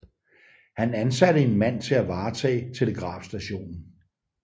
Han ansatte en mand til at varetage telegrafstationen